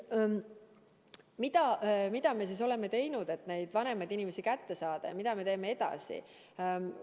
Mida me siis oleme teinud, et vanemaid inimesi kätte saada, ja mida me teeme edasi?